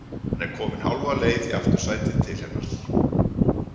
Hann er kominn hálfa leið í aftursætið til hennar.